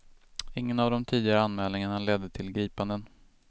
Ingen av de tidigare anmälningarna ledde till gripanden.